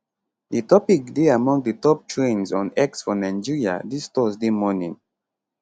di topic dey among di top trends on x for nigeria dis thursday morning